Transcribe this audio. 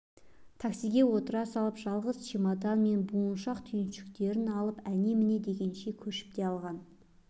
таксиге отыра салып жалғыз чемодан мен буыншақ-түйіншектерін артып әне-міне дегенше көшіп те алған